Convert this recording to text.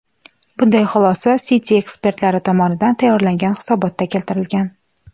Bunday xulosa Citi ekspertlari tomonidan tayyorlangan hisobotda keltirilgan.